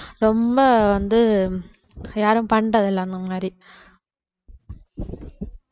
ரொம்ப வந்து யாரும் பண்றதில்ல அந்த மாதிரி